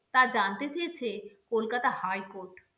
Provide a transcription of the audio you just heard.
তা জানতে চেয়েছে কলকাতা high court